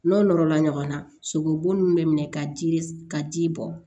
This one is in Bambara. N'o nɔrɔla ɲɔgɔnna sogobu nunnu bɛ minɛ ka ji ka ji bɔ